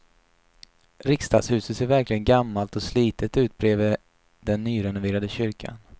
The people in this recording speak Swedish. Riksdagshuset ser verkligen gammalt och slitet ut bredvid den nyrenoverade kyrkan.